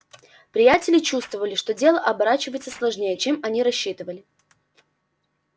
приятели чувствовали что дело оборачивается сложнее чем они рассчитывали